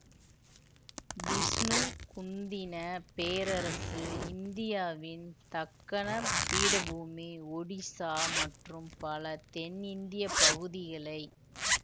விஷ்ணு குந்தின பேரரசு இந்தியாவின் தக்கணப் பீடபூமி ஒடிசா மற்றும் பல தென்னிந்தியப் பகுதிகளை